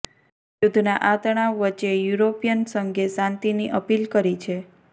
યુદ્ધના આ તણાવ વચ્ચે યુરોપિયન સંઘે શાંતિની અપીલ કરી છે